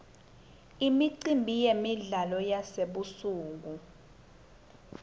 imicimbi yemidlalo yasebusuku